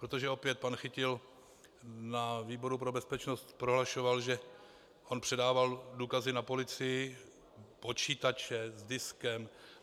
Protože opět pan Chytil na výboru pro bezpečnost prohlašoval, že on předával důkazy na policii, počítače, s diskem.